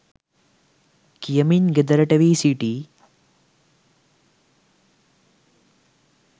කියමින් ගෙදරට වී සිටී.